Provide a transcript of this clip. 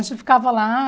A gente ficava lá.